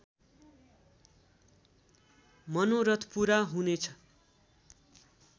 मनोरथ पूरा हुने छ